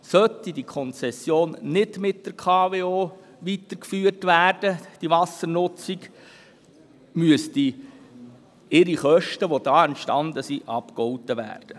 Sollte die Konzession für die Wassernutzung nicht mit der KWO weitergeführt werden, müssten die ihr damit entstandenen Kosten abgegolten werden.